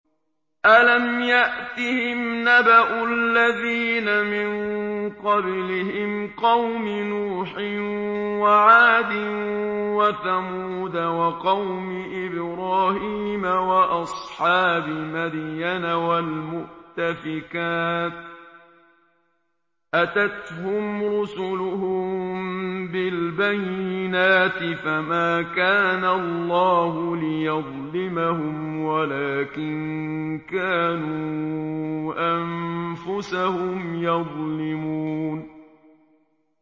أَلَمْ يَأْتِهِمْ نَبَأُ الَّذِينَ مِن قَبْلِهِمْ قَوْمِ نُوحٍ وَعَادٍ وَثَمُودَ وَقَوْمِ إِبْرَاهِيمَ وَأَصْحَابِ مَدْيَنَ وَالْمُؤْتَفِكَاتِ ۚ أَتَتْهُمْ رُسُلُهُم بِالْبَيِّنَاتِ ۖ فَمَا كَانَ اللَّهُ لِيَظْلِمَهُمْ وَلَٰكِن كَانُوا أَنفُسَهُمْ يَظْلِمُونَ